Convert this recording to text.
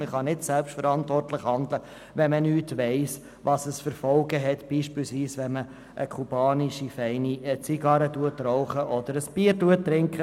Man kann nicht selbstverantwortlich handeln, wenn man nicht weiss, welche Folgen es hat, wenn man zum Beispiel eine kubanische Zigarre raucht oder ein Bier trinkt.